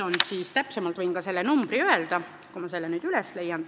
Võin ka täpsemalt selle numbri öelda, kui ma selle üles leian.